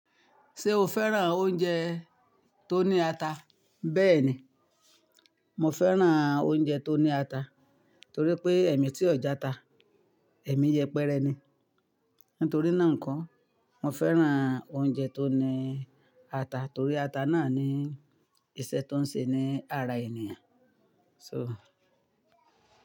Ṣé o fẹ́ràn oúnjẹ tó ní ata? Bẹ́ẹ̀ni, mo fẹ́ràn oúnjẹ tó ní ata torí pé ẹ̀mí tí ọjà ta, ẹ̀mí yẹpẹrẹ ni. Nítorí náà n ko, mo fẹ́ràn oúnjẹ tó ní ata torí ata náà ní ìṣẹ́ tó ń ṣe ní ara ènìyàn so.